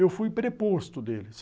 Eu fui preposto dele.